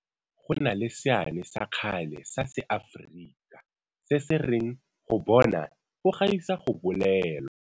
Go na le seane sa kgale sa Seafrika se se reng go bona go gaisa go bolelwa.